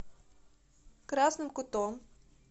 красным кутом